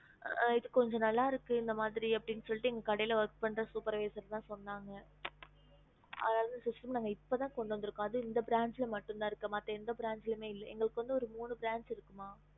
இது கொஞ்சம் நான்ல இருக்கு எங்க கடியால் இருந்து சொன்னாங்க இத்தவந்து இப்போஎங்க மட்டுதா இருக்கு எங்களது மூணு branch இருக்கு